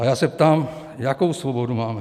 A já se ptám, jakou svobodu máme.